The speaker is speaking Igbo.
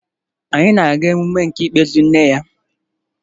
Anyị na-aga mmemme nke ikpeazụ nne ya